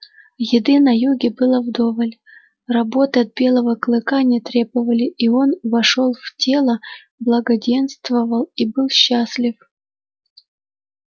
еды на юге было вдоволь работы от белого клыка не требовали и он вошёл в тело благоденствовал и был счастлив